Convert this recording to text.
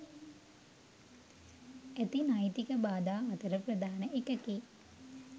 ඇති නෛතික බාධා අතර ප්‍රධාන එකකි